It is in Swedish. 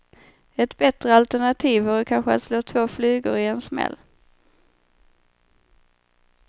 Ett bättre alternativ vore kanske att slå två flugor i en smäll.